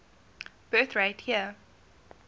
birth rate year